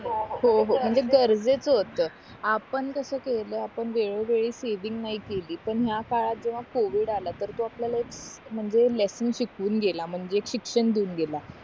हो हो म्हणजे गरजेचं होत आपण कस केला आपण वेळो वेळी सेविंग नाही केली पण ह्या काळात जेव्हा covid आला तर तो आपल्याला एक म्हणजे लेसन शिकवून गेला म्हणजे शिक्षण देऊन गेला